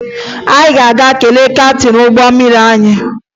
Ị ga-aga kelee kaptịn ụgbọ mmiri anyị?